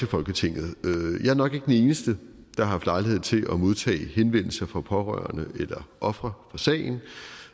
folketinget jeg er nok ikke den eneste der har haft lejlighed til at modtage henvendelser fra pårørende eller ofre fra sagen